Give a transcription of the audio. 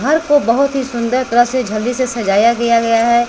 घर को बहोत ही सुंदर तरह से झलरी से सजाया गया है।